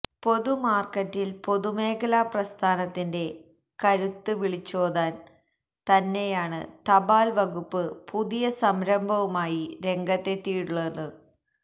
പൊതുമാര്ക്കറ്റില് പൊതുമേഖലാ പ്രസ്ഥാനത്തിന്റെ കരുത്ത് വിളിച്ചോതാന് തന്നെയാണ് തപാല് വകുപ്പ് പുതിയ സംരഭവുമായി രംഗത്തെത്തിയിട്ടുള്ളത്